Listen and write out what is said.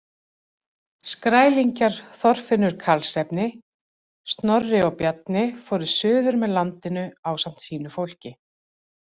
Skrælingjar Þorfinnur Karlsefni, Snorri og Bjarni fóru suður með landinu ásamt sínu fólki.